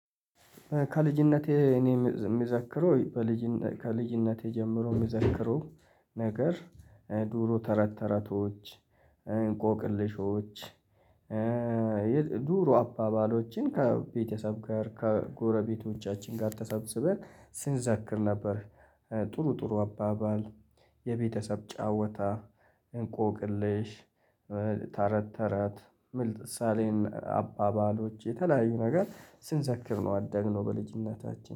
ከልጅነቴ እኔ የሚዘክረው ከልጅነቴ ጀምሮ የሚዘክረው ነገር ድሮ ተረት ተረቶች እንቆቅልሾች። ድሮ አባባሎችን ከቤተሰብ ጋር ከጎረቤቶቻችን ጋር ተሰብስበን ስንዘክር ነበር። ጥሩ ጥሩ አባባል የቤተሰብ ጫዋታ እንቆቅልሽ። ተረት ተራት ምል ሳሌን አባባሎች የተለያዩ ነገር ስንዘክር ነው ያደግነው በልጅነታችን